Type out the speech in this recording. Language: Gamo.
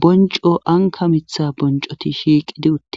bonco anka mitha boncoti shiiqidi uttida.